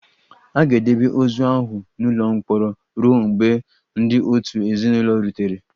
A ga-edebe ozu ahụ n'ụlọ mkpọrọ ruo mgbe ndị òtù ezinụlọ rutere